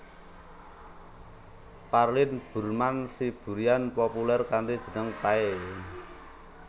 Parlin Burman Siburian populèr kanthi jeneng Pay